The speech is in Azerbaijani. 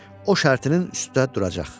O şərtinin üstdə duracaq.